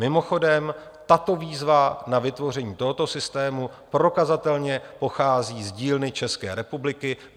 Mimochodem, tato výzva na vytvoření tohoto systému prokazatelně pochází z dílny České republiky.